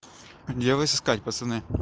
где вас искать пацаны